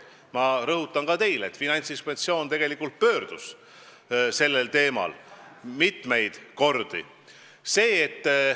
Ma rõhutan ka teile, et Finantsinspektsioon tegelikult pööras sellele teemale mitmeid kordi tähelepanu.